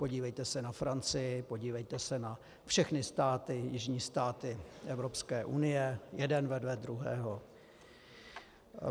Podívejte se na Francii, podívejte se na všechny státy, jižní státy Evropské unie, jeden vedle druhého.